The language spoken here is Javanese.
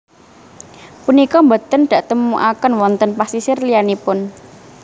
Punika boten daktemukaken wonten pasisir liyanipun